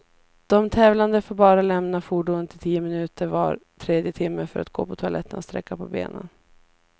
De tävlande får bara lämna fordonet i tio minuter var tredje timme, för att gå på toaletten och sträcka på benen.